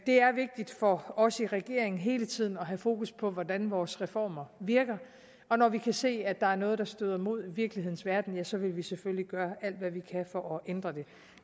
det er vigtigt for os i regeringen hele tiden at have fokus på hvordan vores reformer virker og når vi kan se at der er noget der støder mod virkelighedens verden ja så vil vi selvfølgelig gøre alt hvad vi kan for at ændre det